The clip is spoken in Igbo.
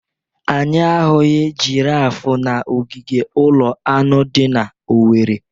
Anyị ahụghị girafe n'ogige ụlọ anụ dị na Owerri.